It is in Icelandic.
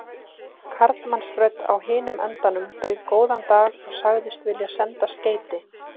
Karlmannsrödd á hinum endanum bauð góðan dag og sagðist vilja senda skeyti.